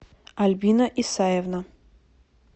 альбина исаевна